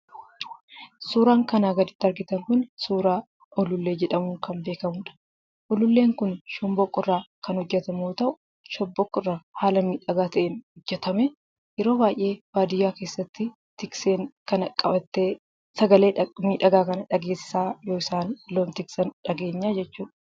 Suuraan kanaa gaditti argitan kun suuraa Ulullee jedhamuun kan beekamuudha. Ululleen kun shomboqqoo irraa kan hojjetamu yoo ta'u, shomboqqoo irraa haala miidhagaa ta'een hojjetamee yeroo baay'ee baadiyyaa tikseen kana qabattee, sagalee miidhagaa kana dhageessisaa yoo isaan loon tiksan dhageenya jechuudha.